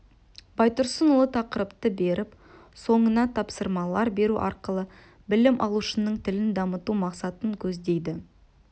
байтұрсынұлы тақырыпты беріп соңына тапсырмалар беру арқылы білім алушының тілін дамыту мақсатын көздейді